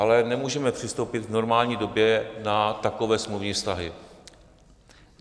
Ale nemůžeme přistoupit v normální době na takové smluvní vztahy.